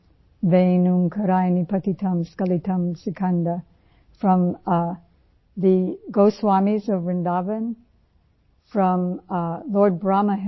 Ven Omkaraya Patitam skilatam Sikand वें ओंकाराय पतितं स्क्लितं सिकंद, from The Goswami's of Vrindavan, from the Lord Brahma himself